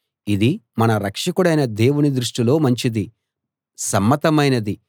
ఇది మన రక్షకుడైన దేవుని దృష్టిలో మంచిది సమ్మతమైనది